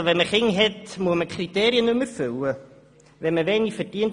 Muss man die Kriterien nicht mehr erfüllen, wenn man Kinder hat?